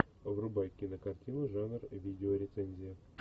врубай кинокартину жанр видеорецензия